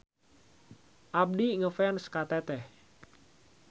Abdi ngefans ka Teteh.